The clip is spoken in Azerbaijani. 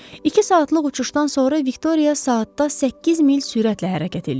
İki saatlıq uçuşdan sonra Viktoriya saatda 8 mil sürətlə hərəkət eləyirdi.